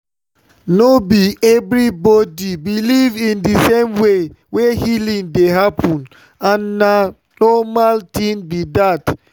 no be everybody believe in the same way wey healing dey happen and na normal thing be that.